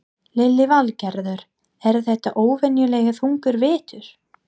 Lillý Valgerður: Er þetta óvenjulega þungur vetur?